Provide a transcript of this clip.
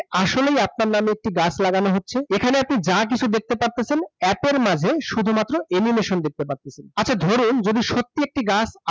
আসলেই আপনার নামে একটি গাছ লাগানো হচ্ছে। এখানে আপনি যা কিছু দেখতে পারতেছে, app এর মাঝে শুধুমাত্র animation দেখতে পারতেছেন। আচ্ছা ধরুন যদি সত্যি একটি গাছ